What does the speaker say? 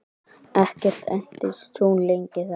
Ekki entist hún lengi þar.